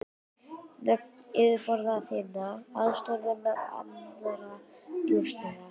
Nöfn yfirboðara þinna, aðstoðarmanna, annarra njósnara.